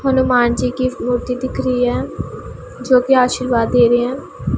हनुमान जी की मूर्ति दिख रही है जो की आशीर्वाद दे रहे हैं।